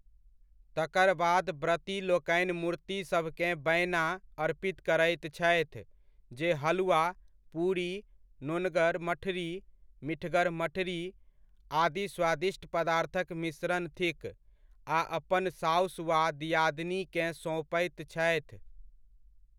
तकर बाद व्रती लोकनि मूर्तिसभकेँ 'बैना' अर्पित करैत छथि जे हलुआ, पूरी, नोनगर मठरी, मिठगर मठरी आदि स्वादिष्ट पदार्थक मिश्रण थिक आ अपन सासु वा दिआदनीकेँ सौंपैत छथि।